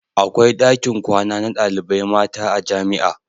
Akwai dakin kwana na ɗalibai mata a jamia